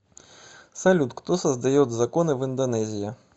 салют кто создает законы в индонезия